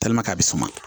a bɛ suman